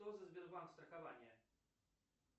что за сбербанк страхование